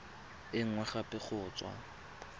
e nngwe gape go tswa